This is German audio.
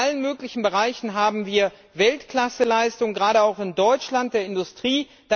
In allen möglichen Bereichen haben wir Weltklasseleistungen, gerade auch in Deutschland, in der Industrie.